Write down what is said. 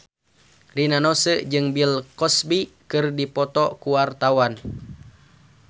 Rina Nose jeung Bill Cosby keur dipoto ku wartawan